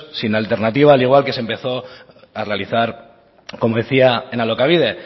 sin alternativa al igual que se empezó a realizar como decía en alokabide